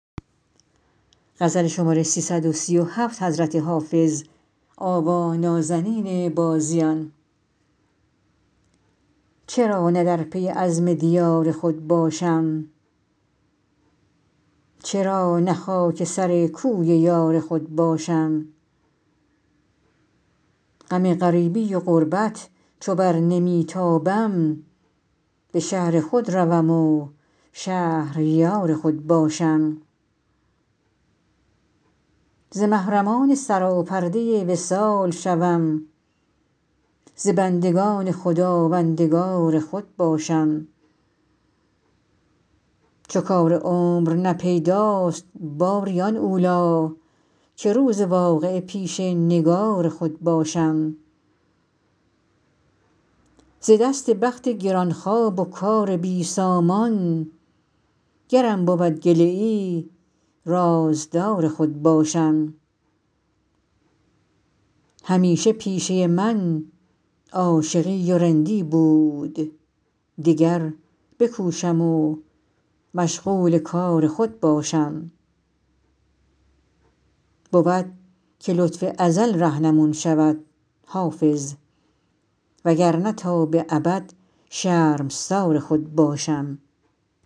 چرا نه در پی عزم دیار خود باشم چرا نه خاک سر کوی یار خود باشم غم غریبی و غربت چو بر نمی تابم به شهر خود روم و شهریار خود باشم ز محرمان سراپرده وصال شوم ز بندگان خداوندگار خود باشم چو کار عمر نه پیداست باری آن اولی که روز واقعه پیش نگار خود باشم ز دست بخت گران خواب و کار بی سامان گرم بود گله ای رازدار خود باشم همیشه پیشه من عاشقی و رندی بود دگر بکوشم و مشغول کار خود باشم بود که لطف ازل رهنمون شود حافظ وگرنه تا به ابد شرمسار خود باشم